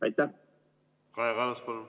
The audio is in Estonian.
Kaja Kallas, palun!